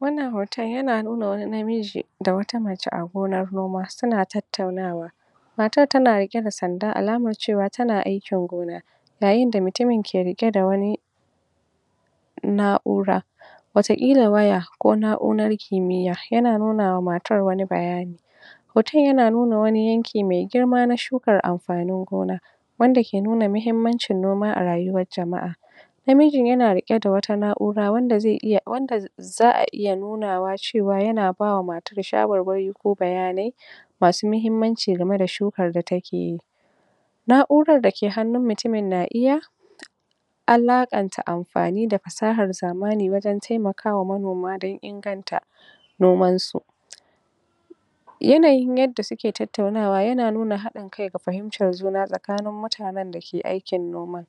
Wannan hoton yana nuna wani namiji da wata mace a gonar noma suna tattaunawa matar tana riƙe da sanda alamar cewar tana aikin gona yayinda utuin ke riƙe da wani na'ura wataƙila waya ko na'urar kimiyya, yana nunawa matar wani bayani hoton yana nuna wani yanki mai girma na shukar amfanin gona wanda ke nuna mahimmancin noma a rayuwar jama'a namijin yana riƙe da wata na'ura, wanda zai iya wanda za'a iya nunawa cewa yana bawa matar shawarwari ko bayanai masu mahimmanci gameda shukar da takeyi na'urar dake hannun mutumin na iya akaƙanta afani da fasahar zamani wajen taiakwa manoma don inganta nomansu yanayin yadda suke tattaunawa yana nuna haɗIn kai da fahimtar juna tsakanin mutanen da suke noma